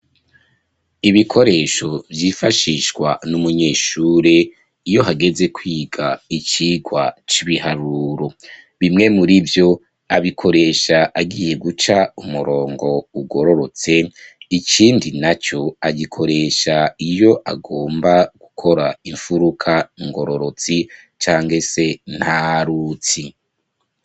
Ibikoresho vyifashishwa n'umunyeshure iyo hageze kwiga icigwa c'ibiharuro, bimwe muri vyo abikoresha agiye guca umurongo ugororotse ikindi naco agikoresha iyo agomba gukora imfuruka ngororotsi cankese ntarutsi.